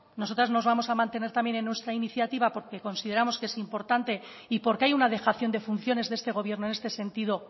nosotras nos vamos a mantener también en nuestra iniciativa porque consideramos que es importante y porque hay una dejación de funciones de este gobierno en este sentido